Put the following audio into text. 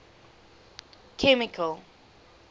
chemical